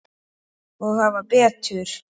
Og hafa betur.